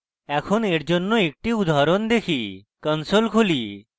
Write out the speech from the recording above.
এখন এর জন্য একটি উদাহরণ দেখি console খুলি